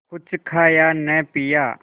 कुछ खाया न पिया